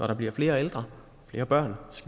der bliver flere ældre og flere børn